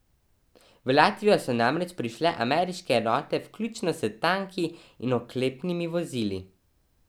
V Latvijo so namreč prišle ameriške enote vključno s tanki in oklepnimi vozili.